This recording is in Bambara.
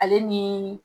Ale ni